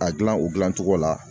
A gilan o dilancogo la.